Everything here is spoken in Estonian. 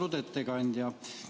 Austatud ettekandja!